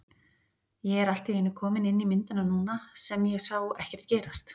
Ég er allt í einu kominn inn í myndina núna sem ég sá ekkert gerast.